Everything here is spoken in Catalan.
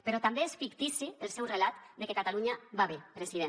però també és fictici el seu relat de que catalunya va bé president